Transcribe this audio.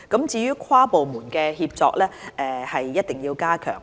至於跨部門協作，則一定要加強。